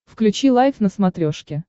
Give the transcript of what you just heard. включи лайф на смотрешке